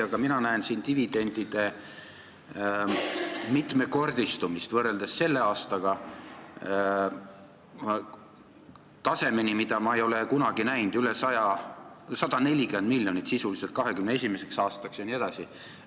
Aga ma näen siin selle aastaga võrreldes dividendi mitmekordistamist tasemeni, mida ma ei ole kunagi näinud – 140 miljonit sisuliselt 2021. aastaks jne.